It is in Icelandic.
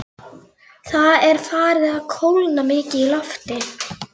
Þessi kvika er venjulega fremur fátæk af gosgufum.